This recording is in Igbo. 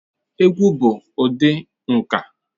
Egwu bụ ụdị nka.